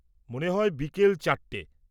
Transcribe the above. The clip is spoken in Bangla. মনে হয় বিকেল চারটে।